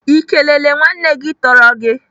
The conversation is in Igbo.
Ị kelele nwanne gị tọrọ gị?